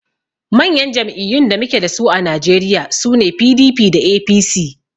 Manyan jam'iyyun da muke dasu a najeriya sune PDP da APC